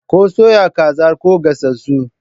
Ko soya kazar ko gasassu?